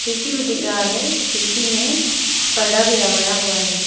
खिड़की भी दिख रहा है खिड़की में पर्दा भी लगाया हुआ है।